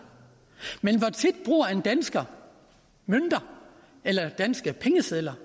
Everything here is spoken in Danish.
men hvor tit bruger en dansker mønter eller danske pengesedler